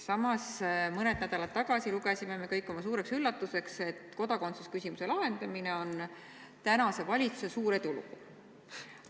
Samas mõned nädalad tagasi lugesime kõik oma suureks üllatuseks, et kodakondsusküsimuse lahendamine on praeguse valitsuse suur edulugu.